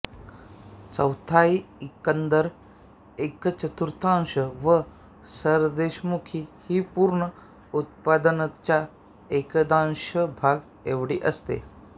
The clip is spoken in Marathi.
चौथाई एकंदर एकचतुर्थांश व सरदेशमुखी ही पूर्ण उत्पन्नाच्या एकदशांश भाग एवढी असे